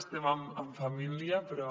estem en família però